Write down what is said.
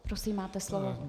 Prosím, máte slovo.